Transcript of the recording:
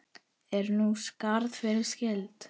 Er nú skarð fyrir skildi.